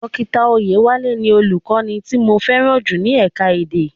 Dókítà Oyewale ni Olùkọ́ni tí mo fẹ́ràn jù ní ẹ̀ka-èdè.